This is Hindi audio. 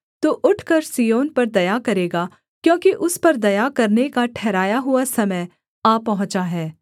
तू उठकर सिय्योन पर दया करेगा क्योंकि उस पर दया करने का ठहराया हुआ समय आ पहुँचा है